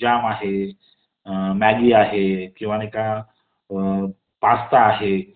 Jam आहे . Maggi आहे . किंवा नाही का पास्ता आहे